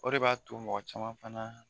O de b'a to mɔgɔ caman fana